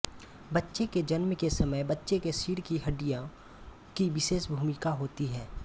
बच्चे के जन्म के समय बच्चे के सिर की हडिड्यों की विशेष भूमिका होती है